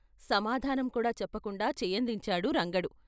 " సమాధానం కూడా చెప్పకుండా చేయందించాడు రంగడు.